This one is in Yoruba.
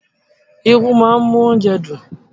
Irú máa ń mú oúnjẹ dùn.